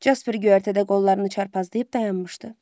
Casper göyərtədə qollarını çarpazlayıb dayanmışdı.